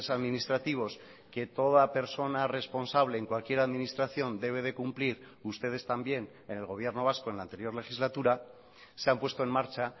administrativos que toda persona responsable en cualquier administración debe de cumplir ustedes también en el gobierno vasco en la anterior legislatura se han puesto en marcha